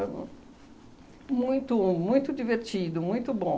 muito muito divertido, muito bom.